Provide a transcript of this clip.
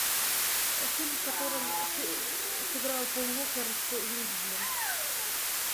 фильм в котором сыграл пол уокер с вин дизелем